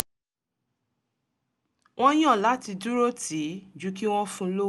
wọ́n yàn láti dúró tì í ju kí wọ́n fun lówó